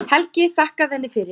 Helgi þakkaði henni fyrir.